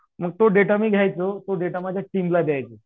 मग तो डेटा मी घ्यायचो तो देता मी माझ्या टीमला द्यायचो.